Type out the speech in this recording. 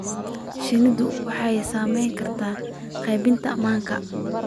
Shinnidu waxay saamayn kartaa qaybinta manka.